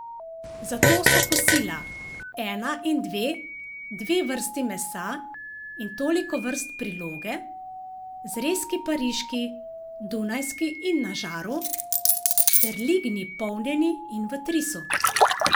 Zato so kosila, ena in dve, dve vrsti mesa in toliko vrst priloge, zrezki pariški, dunajski in na žaru ter lignji polnjeni in v trisu.